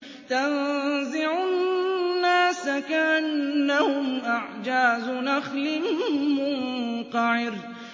تَنزِعُ النَّاسَ كَأَنَّهُمْ أَعْجَازُ نَخْلٍ مُّنقَعِرٍ